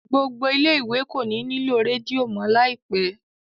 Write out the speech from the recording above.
gbó gbò ilé ìwé kò ní nilo Rédíò mọ láìpé.